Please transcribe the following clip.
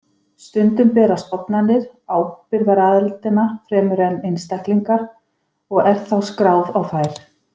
Stundum bera stofnanir ábyrgðaraðildina fremur en einstaklingar og er þá skráð á þær.